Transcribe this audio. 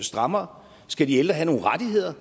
strammere skal de ældre have nogle rettigheder